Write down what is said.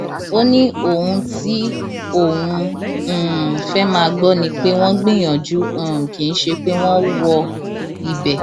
ó ní ohun tí òun um fẹẹ máa gbọ ni pé wọn gbìyànjú um kì í ṣe pé wọn wọ ibẹ